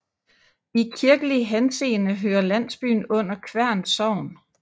I kirkelig henseende hører landsbyen under Kværn Sogn